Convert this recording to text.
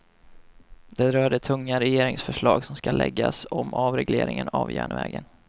Det rör det tunga regeringsförslag som ska läggas om avregleringen av järnvägen.